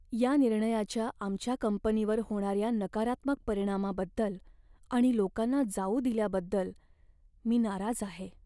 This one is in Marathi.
या निर्णयाच्या आमच्या कंपनीवर होणाऱ्या नकारात्मक परिणामाबद्दल आणि लोकांना जाऊ दिल्याबद्दल मी नाराज आहे.